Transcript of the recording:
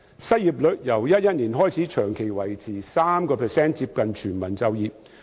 失業率亦由2011年起長期維持在 3%， 接近全民就業。